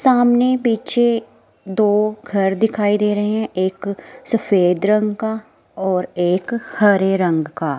सामने पीछे दो घर दिखाई दे रहे हैं एक सफेद रंग का और एक हरे रंग का।